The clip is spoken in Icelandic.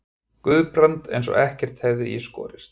Guðbrand eins og ekkert hefði í skorist.